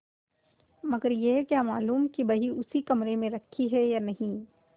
मगर यह क्या मालूम कि वही उसी कमरे में रखी है या नहीं